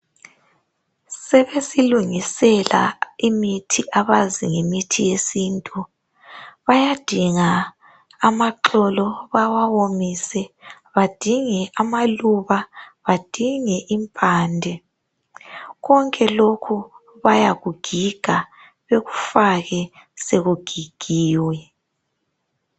Sebesilungisela imithi abazi ngemithi yesintu .Bayadinga amaxolo bawawomise, badinge amaluba, badinge impande. Konke lokhu bayakugiga bekufake sekugigiwe.